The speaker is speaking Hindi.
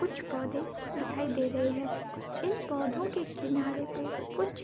कुछ पौधे दिखाई दे रहे हैं | इन पौधो के किनारे पे कुछ --